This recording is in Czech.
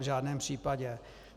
V žádném případě.